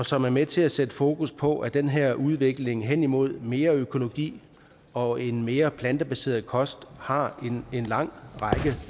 som er med til at sætte fokus på at den her udvikling hen imod mere økologi og en mere plantebaseret kost har en lang